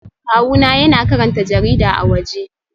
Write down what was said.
Kawuna yana karanta jarida a waje